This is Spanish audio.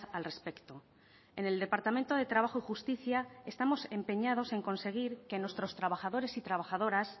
al respecto en el departamento de trabajo y justicia estamos empeñados en conseguir que nuestros trabajadores y trabajadoras